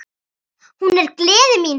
Hún er gleði mín.